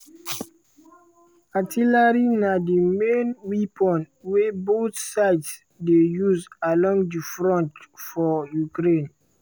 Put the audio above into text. artillery na di main weapon wey both sides dey use along di front for ukraine.